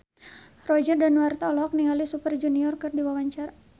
Roger Danuarta olohok ningali Super Junior keur diwawancara